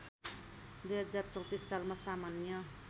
२०३४ सालमा सामान्य